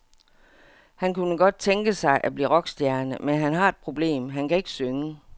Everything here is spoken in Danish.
Han kunne godt tænke sig at blive rockstjerne, men han har et problem, han kan ikke synge.